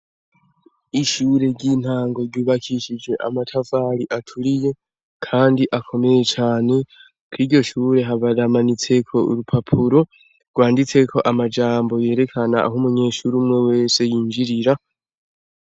Ishure ry'intango ryubakishijwe amatafari aturiye, kandi akomeye cane kwiryo shure haramanitseyo nurupapuro rwanditseko amajambo yerekana aho umunyeshure uwariwe wese yinjirira.